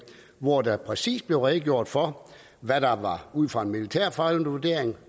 hvori der præcis blev redegjort for hvad der ud fra en militærfaglig vurdering